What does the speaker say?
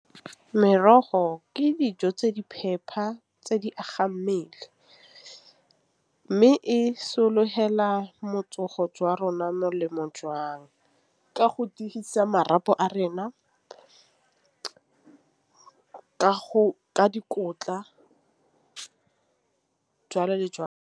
Merogo ke dijo tse di phepa tse di agang mmele, mme e sologela matsogo jwa rona molemo . Ka go tiisa marapo a rena ka go ka dikotla jalo le jalo.